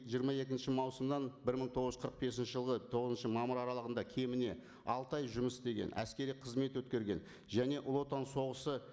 жиырма екінші маусымнан бір мың тоғыз жүз қырық бесінші жылғы тоғызыншы мамыр аралығында кеміне алты ай жұмыс істеген әскери қызмет өткерген және ұлы отан соғысы